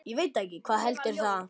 Hvað heldur það?